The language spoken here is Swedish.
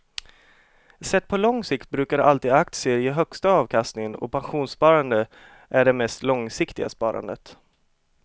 Sett på lång sikt brukar alltid aktier ge högsta avkastningen och pensionssparande är det mest långsiktiga sparandet.